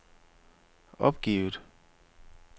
opgivet